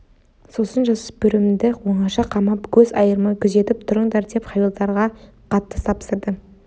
сосын жасөспірімді оңаша қамап көз айырмай күзетіп тұрыңдар деп хавильдарға қатты тапсырды